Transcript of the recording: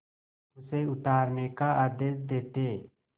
उसे उतारने का आदेश देते